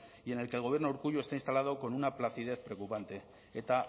y en el que el gobierno de urkullu está instalado con una placidez preocupante eta